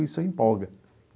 Isso empolga.